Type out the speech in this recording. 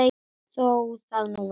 Þó það nú væri.